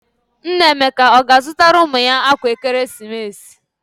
Nna Emeka ọ ga-azụtara ụmụ ya akwa ekeresimesi?